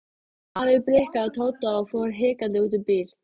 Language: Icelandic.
Afi blikkaði Tóta og fór hikandi út í bíl.